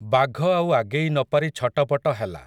ବାଘ ଆଉ ଆଗେଇ ନ ପାରି ଛଟପଟ ହେଲା ।